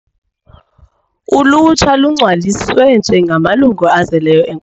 Ulutsha lungcwaliswe njengamalungu azeleyo e.